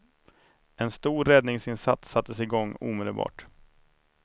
En stor räddningsinsats sattes i gång omedelbart.